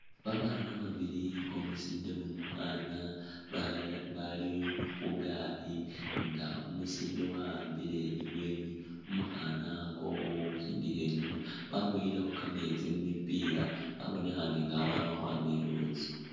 Babaana babili umusinde ni umukhaana ba bali khu gaali nga umusinde wa'ambile ibweeni, umukhaana khakhakakho khusindikha inyuma waboyilekho kameetsi mu mipila babonekhane nga babamakhwama i'luutsi.